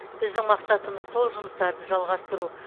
біздің мақсатымыз сол жұмыстарды жалғастыру